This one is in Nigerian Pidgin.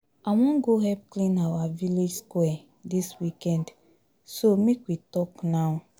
I wan go help clean our village square dis weekend so make we talk now